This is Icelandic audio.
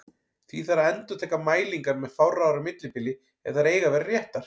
Því þarf að endurtaka mælingar með fárra ára millibili ef þær eiga að vera réttar.